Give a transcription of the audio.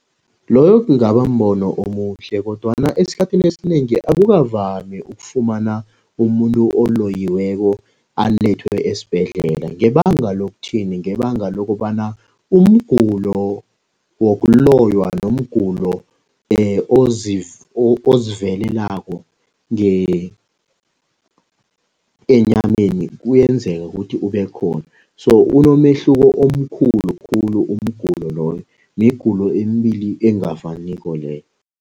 Loyo kungaba mbono omuhle kodwana esikhathini esinengi akukavami ukufumana umuntu oloyiweko alethwe esibhedlela. Ngebanga lokuthini, ngebanga lokobana umgulo wokuloywa nomgulo oziveleleko enyameni kuyenzeka ukuthi ubekhona so, unomehluko omkhulu khulu umgulo loyo, migulo emibili engafaniko leyo.